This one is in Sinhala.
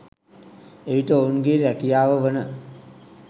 එවිට ඔවුන්ගේ රැකියාව වන